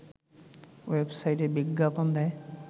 ওয়েবসাইটে বিজ্ঞাপন দেয়